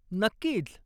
नक्कीच!